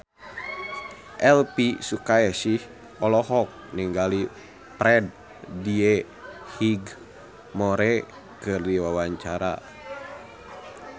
Elvi Sukaesih olohok ningali Freddie Highmore keur diwawancara